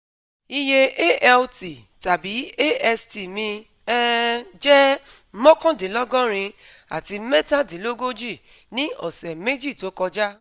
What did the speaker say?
Iye ALT/AST mi um jẹ́ mokandinlogorin àti metadinlogoji ní ọ̀sẹ̀ meji tó kọjá